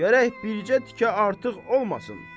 Gərək bircə tikə artıq olmasın.